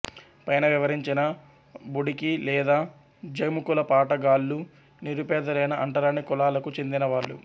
పైన వివరించిన బుడికి లేదా జముకుల పాట గాళ్ళు నిరుపేదలైన అంటరాని కులాలకు చెందిన వాళ్ళు